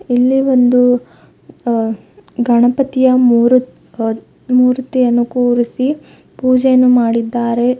ಇಲ್ಲಿ ಒಂದು ಅ ಗಣಪತಿಯ ಮೂರು ಅ ಮೂರುತಿಯನ್ನು ಕೂರಿಸಿ ಪೂಜೆಯನ್ನು ಮಾಡಿದ್ದಾರೆ.